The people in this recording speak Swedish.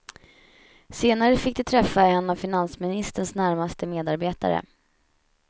Senare fick de träffa en av finansministerns närmaste medarbetare.